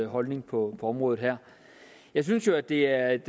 holdning på området her jeg synes jo at det er et